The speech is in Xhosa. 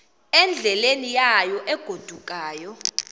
endleleni yayo egodukayo